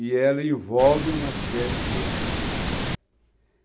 E ela envolve uma série de coisas.